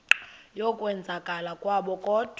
yokwenzakala kwabo kodwa